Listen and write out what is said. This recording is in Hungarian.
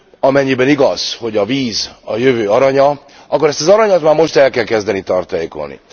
Amennyiben igaz, hogy a víz a jövő aranya, akkor ezt az aranyat már most el kell kezdeni tartalékolni.